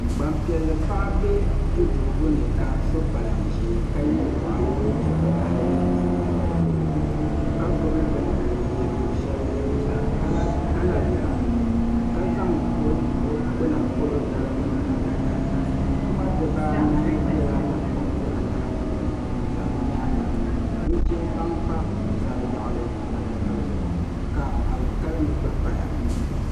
Gbanpiɛlli paɣa bɛ duduɣugu ni ka so kpalan ʒiɛ ka yɛ liiga vakaɣali ka gbubi bini o nudirigu shɛli o nuzaa ka la biɛla ka zaŋ o gbuna polo biɛla dalim adaka puma dabaanahi biɛla lakoriti anahi puuni n za o nyaanga nuchɛ baŋ pa o yaɣali adaka zuɣu ka alikalimi gba paya